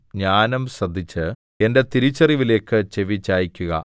ജ്ഞാനം ശ്രദ്ധിച്ച് എന്റെ തിരിച്ചറിവിലേക്ക് ചെവിചായിക്കുക